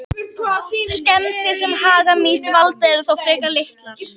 Skemmdir sem hagamýs valda eru þó frekar litlar.